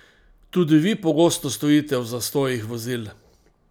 Tudi vi pogosto stojite v zastojih vozil?